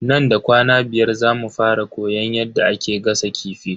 Nan da kwana biyar zamu fara koyan yadda ake gasa kifi.